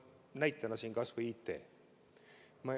Näiteks kas või IT.